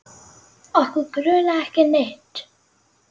Okkur grunaði ekki neitt.